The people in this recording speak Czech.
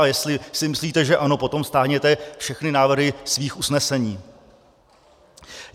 A jestli si myslíte, že ano, potom stáhněte všechny návrhy svých usnesení.